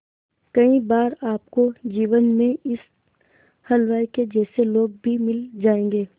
कई बार आपको जीवन में इस हलवाई के जैसे लोग भी मिल जाएंगे